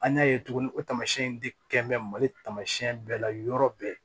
An y'a ye tuguni o taamasiyɛn in de kɛ mɛ mali taamasiyɛn bɛɛ la yɔrɔ bɛɛ